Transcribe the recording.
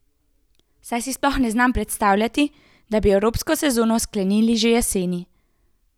Saj si sploh ne znam predstavljati, da bi evropsko sezono sklenili že jeseni.